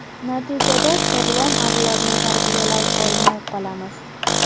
Natijada, sog‘lom avlodni tarbiyalay olmay qolamiz.